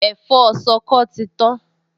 Ẹ̀fọ́ ṣọkọ ti tán